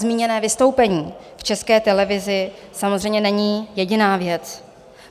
Zmíněné vystoupení v České televizi samozřejmě není jediná věc.